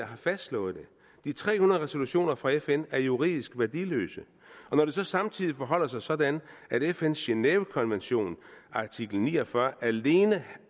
har fastslået det de tre hundrede resolutioner fra fn er juridisk værdiløse og når det så samtidig forholder sig sådan at fns genèvekonvention artikel ni og fyrre alene